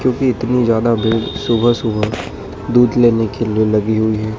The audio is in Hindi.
क्योंकि इतनी ज्यादा भीड़ सुबह सुबह दूध लेने के लिए लगी हुई है।